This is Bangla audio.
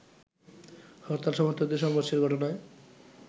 হরতাল সমর্থকদের সংঘর্ষের ঘটনায়